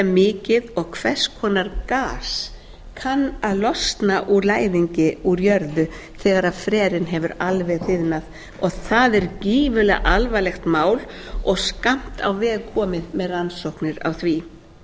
mikið og hvers konar gas kann að losna úr læðingi úr jörðu þegar frerinn hefur alveg þiðnað og það er gífurlega alvarlegt mál og skammt á veg komið með rannsóknir á því